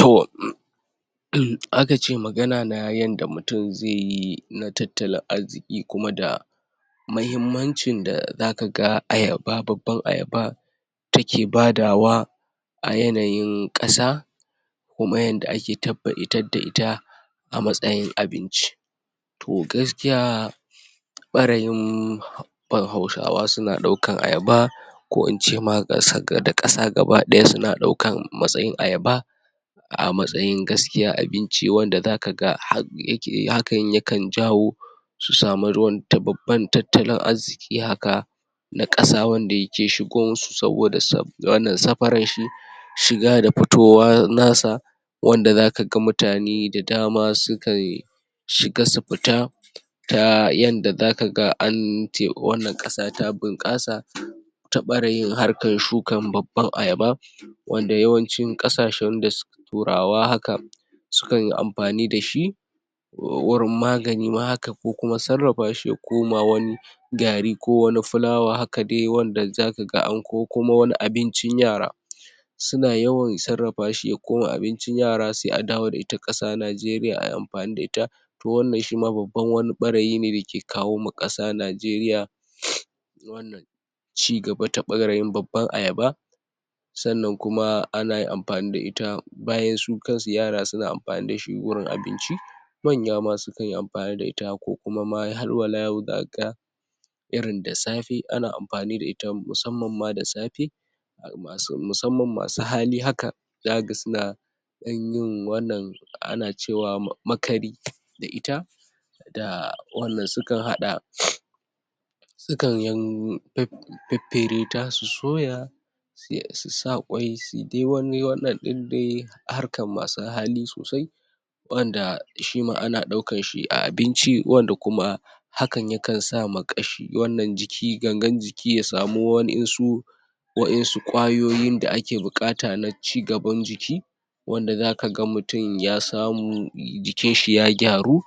To um um aka ce magana na yanda mutum zai yi na tattala arziƙi kuma da muhimmancin da zakaga ayaba, babban ayaba take badawa a yanayin ƙasa kuma yanda ake tabba ita da ita a matsayin abinci to gaskiya ɓarayin? hausawa suna ɗaukan ayaba ko ince ma ƙas?da ƙasa gaba ɗaya, suna ɗaukan matsayin ayaba a matsayin gaskiya abinci, wanda zakaga hak? yake hakan yakan jawo su samu ruwan ta babban tattalin arziƙi haka na ƙasa wanda yake shigo musu saboda saf? wannan safarar shi shiga da fitowa nasa wanda zakaga mutane da dama sukan shiga su fita ta yanda zakaga an te? wannan ƙasa ta bunƙasa ta ɓarayin harkan shukan babban ayaba wanda yawancin ƙasashen da su su turawa haka su kanyi amfani dashi wurin magani ma haka, ko kuma sarrafa shi ya koma wani gari ko wani fulawa haka dai wanda zakaga an ko ko kuma wani abincin yara suna yawan sarrafa shi ya koma abincin yara, sai a dawo da ita ƙasa Najeriya ai amfani da ita to wannan shima babban wani ɓarayi ne da ke kawo ma ƙasa Najeriya um wannan cigaba ta ɓarayin babban ayaba sannan kuma anayin amfani da ita bayan su kansu yara suna amfani dashi wurin abinci manya ma sukanyi amfani da ita, ko kuma ma hal wala yau zakaga irin da safe, ana amfani da ita musamman ma da safe um musamman masu hali haka zakaga suna ɗan yin wannan ana cewa ma? makari da ita da wannan sukan haɗa um sukan yin faffere ta, su soya su? su sa ƙwai, su dai wani wannan ɗin dai harkar masu hali sosai wanda shi ma ana ɗaukan shi a abinci, wanda kuma hakan yakan sa ma ƙashi wannan jiki, gangan jiki ya samu waƴansu waƴansu ƙwayoyin da ake buƙata na cigaban jiki wanda zakaga mutum ya samu jikinshi ya gyaru